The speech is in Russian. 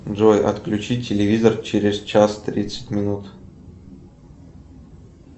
джой отключи телевизор через час тридцать минут